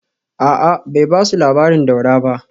A’a, bai ba su labarin Daura ba